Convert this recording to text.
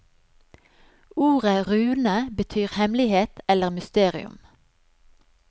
Ordet rune betyr hemmelighet eller mysterium.